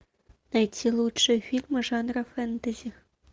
найти лучшие фильмы жанра фэнтези